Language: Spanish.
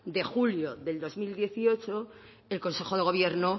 de julio de dos mil dieciocho el consejo de gobierno